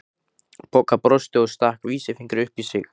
Bogga brosti og stakk vísifingri upp í sig.